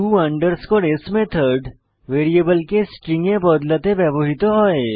to s method ভ্যারিয়েবলকে string এ বদলাতে ব্যবহৃত হয়